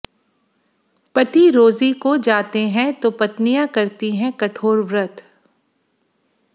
पति रोजी को जाते हैं तो पत्नियां करती हैं कठोर व्रत